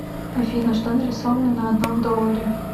афина что нарисовано на одном долларе